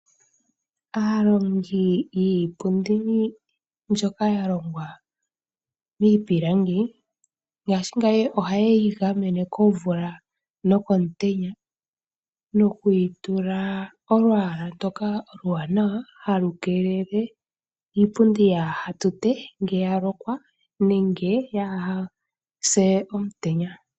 Aantu oyendji ohaya longo iipundi iiwaanawa. Iipundi mbika oya longwa owala mii pilangi, no ya kola nawa.